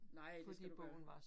Nej, det skal du gøre